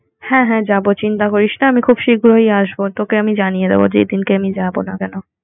হ্যাঁ হ্যাঁ যাবো চিন্তা করিস না আমি খুব শিগ্রই আসবো তোকে আমি জানিয়ে দেব যেদিন কে আমি যাবো না কেন